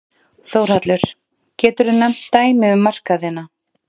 Þórhallur: Geturðu nefnt dæmi um markaðina?